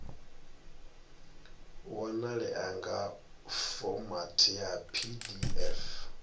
wanalea nga fomathi ya pdf